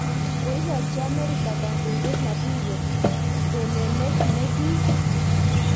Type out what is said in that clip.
Koikochi Amerika kandondet Maduro tononet nekiim